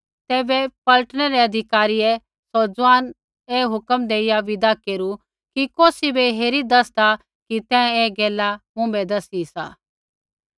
तैबै पलटनै रै अधिकारियै सौ ज़ुआन ऐ हुक्मा देइया विदा केरू कि कौसी बै हेरी दैसदा कि तैं ऐ गैला मुँभै दसी सी